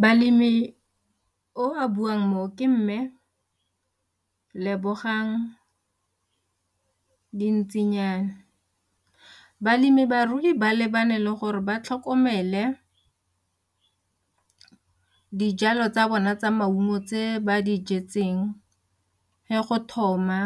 Balemi o a buang mo ke mme Lebogang Dintsinyana, balemi barui ba lebane le gore ba tlhokomele dijalo tsa bona tsa maungo tse ba dijetseng ge go thoma